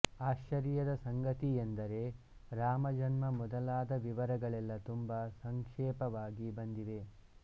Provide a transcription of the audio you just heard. ಆಶ್ಚರ್ಯದ ಸಂಗತಿಯೆಂದರೆ ರಾಮಜನ್ಮ ಮೊದಲಾದ ವಿವರಗಳೆಲ್ಲ ತುಂಬ ಸಂಕ್ಷೇಪವಾಗಿ ಬಂದಿವೆ